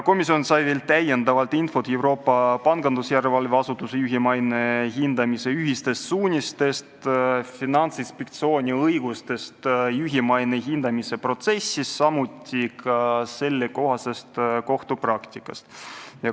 Komisjon sai veel täiendavat infot Euroopa Pangandusjärelevalve Asutuse juhi maine hindamise ühistest suunistest, Finantsinspektsiooni õigustest juhi maine hindamise protsessis, samuti sellekohasest kohtupraktikast.